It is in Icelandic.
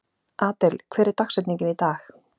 Adel, hver er dagsetningin í dag?